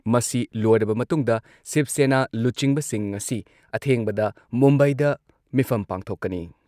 ꯃꯁꯤ ꯂꯣꯏꯔꯕ ꯃꯇꯨꯡꯗ ꯁꯤꯕ ꯁꯦꯅꯥ ꯂꯨꯆꯤꯡꯕꯁꯤꯡ ꯉꯁꯤ ꯑꯊꯦꯡꯕꯗ ꯃꯨꯝꯕꯥꯏꯗ ꯃꯤꯐꯝ ꯄꯥꯡꯊꯣꯛꯀꯅꯤ ꯫